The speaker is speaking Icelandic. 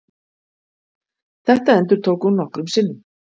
Þetta endurtók hún nokkrum sinnum.